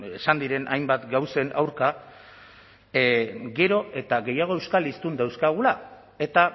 esan diren hainbat gauzen aurka gero eta gehiago euskal hiztun dauzkagula eta